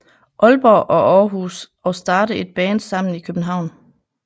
Aalborg og Aarhus og starte et band sammen i København